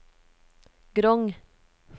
Grong